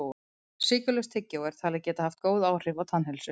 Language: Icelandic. Sykurlaust tyggjó er talið geta haft góð áhrif á tannheilsu.